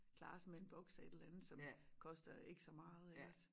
Klares med en boks af et eller andet som koster ikke så meget ellers